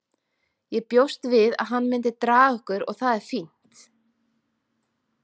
Ég bjóst við að hann myndi draga okkur og það er fínt.